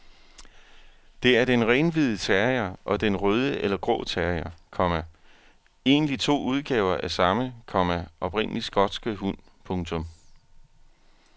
Det er den renhvide terrier og den røde eller grå terrier, komma egentlig to udgaver af samme, komma oprindelig skotske hund. punktum